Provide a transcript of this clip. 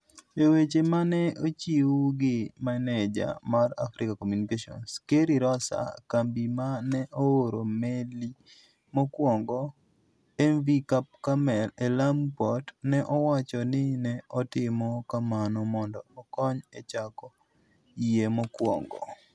E weche ma ne ochiw gi maneja mar Africa Communications, Kerry Rosser, kambi ma ne ooro meli mokwongo, mv Cap Carmel e Lamu Port, ne owacho ni ne otimo kamano mondo okony e chako yie mokwongo.